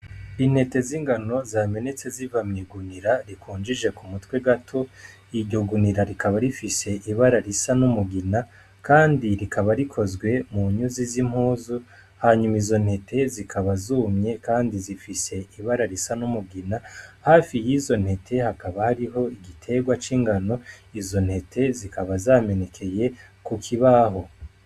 Intete z'ingano zamenetse zivamyigunira rikunjije ku mutwe gato iryo gunira rikaba rifise ibara risa n'umugina, kandi rikaba rikozwe mu nyuzi z'impuzu hanyuma izo ntete zikaba zumye, kandi zifise ibara risa n'umugina hafi y'izo ntete hakaba hariho igiterwae cingano izo ntete zikaba zamenekeye kukibaho.